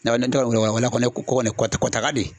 N'a bɛ ne taara wula fɛ ne kɔ kɔni kɔtɛ kɔtaga de